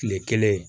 Tile kelen